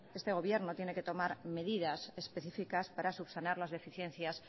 este gobierno tiene que tomar medidas específicas para subsanar las deficiencias